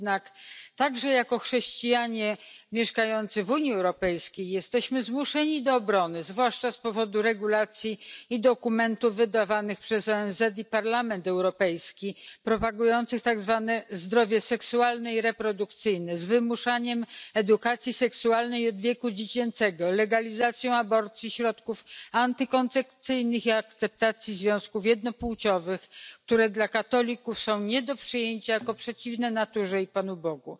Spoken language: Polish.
Jednak także jako chrześcijanie mieszkający w Unii Europejskiej jesteśmy zmuszeni do obrony, zwłaszcza z powodu regulacji i dokumentów wydawanych przez ONZ i Parlament Europejski, propagujących tak zwane zdrowie seksualne i reprodukcyjne z wymuszaniem edukacji seksualnej wieku dziecięcego, legalizacją aborcji, środków antykoncepcyjnych i akceptacją związków jednopłciowych, które dla katolików są nie do przyjęcia jako przeciwne naturze i Panu Bogu.